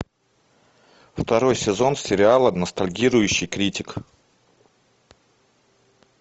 второй сезон сериала ностальгирующий критик